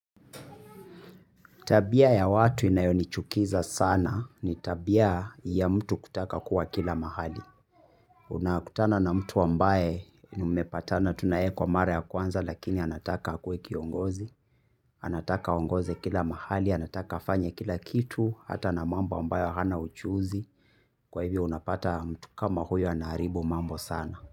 Tabia ya watu inayonichukiza sana ni tabia ya mtu kutaka kuwa kila mahali. Una kutana na mtu ambaye nimepatana tu na yeye kwa mara ya kwanza lakini anataka akue kiongozi, anataka aongoze kila mahali, anataka afanye kila kitu, hata na mambo ambayo hana ujuzi. Kwa hivyo unapata mtu kama huyo anaharibu mambo sana.